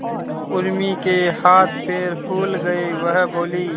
उर्मी के हाथ पैर फूल गए वह बोली